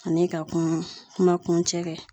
Ani ka kuma ,kuma kun cɛ kɛ.